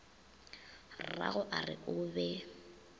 rrago a re o be